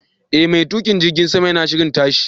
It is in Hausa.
E, mai tukin jirgin sama yana shirin tashi.